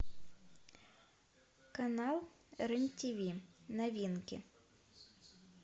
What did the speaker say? канал рен тв новинки